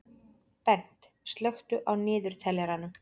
Bent, slökktu á niðurteljaranum.